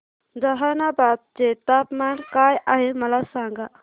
जहानाबाद चे तापमान काय आहे मला सांगा